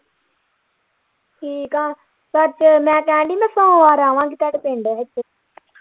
ਠੀਕ ਆ ਪਰ ਜੋ ਮੈਂ ਕਹਿਣ ਦੀ ਨਾ ਸੋਮਵਾਰ ਆਵਾਂਗੇ ਤੁਹਾਡੇ ਪਿੰਡ।